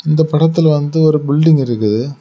இந்த படத்துல வந்து ஒரு பில்டிங் இருக்குது.